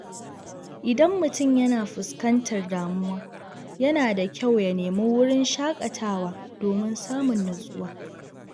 Idan mutum yana fuskantar damuwa, yana da kyau ya nemi wurin shaƙatawa domin samun natsuwa.